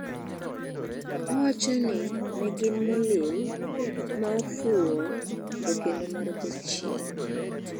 Owachoni negin "molill","maofuo" to kendo"mar jachien".